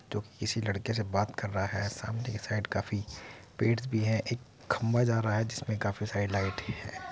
जो की किसी लड़के से बात कर रहा है | सामने की साइड पेड़ भी है | एक खंभा जा रहा है जिसमें काफी सारी लाइट है ।